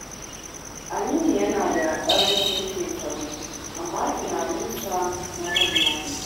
Aminu yana da ƙarancin shekaru, amma tunaninsa na manya ne.